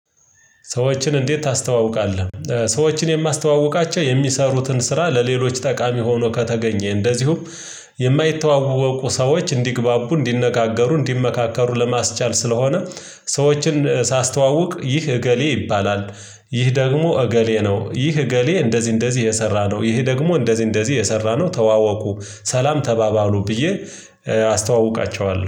ሰዎችን እንዴት ታስተዋውቃለህ? ሰዎችን የማስተዋውቃቸው የሚሰሩትን ስራ ለሌሎች ጠቃሚ ሆኖ ከተገኘ እንደዚሁም የማይተዋወቁ ሰዎች እንዲግባቡ እንዲነጋገሩ እንዲመካከሩ ለማስቻል ስለሆነ። ሰዎችን ሳስተዋውቅ ይህ እገሌ ይባላል። ይህ ደግሞ እገሌ ነው ይህ እገሌ እንደዚህ እንደዚህ የሰራ ነው ይህ ደግሞ እንደዚህ እንደዚህ የሰራ ነው ተዋወቁ። ሰላም ተባባሉ ብዬ አስተዋውቃቸዋለሁ